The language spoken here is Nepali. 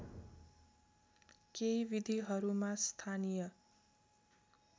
केही विधिहरूमा स्थानीय